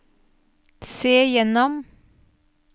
se gjennom